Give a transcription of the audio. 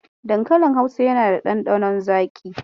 Dankalin Hausa yana da ɗanɗanon zaƙi.